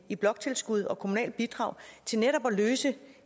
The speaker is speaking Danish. i bloktilskud og kommunale bidrag til netop at løse